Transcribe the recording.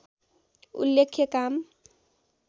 उल्लेख्य काम